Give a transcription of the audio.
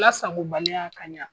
Lasagobaliya ka ɲa